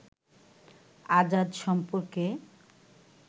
আজাদ সম্পর্কে